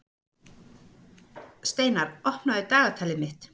Steinar, opnaðu dagatalið mitt.